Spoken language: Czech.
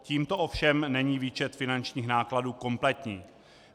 Tímto ovšem není výčet finančních nákladů kompletní.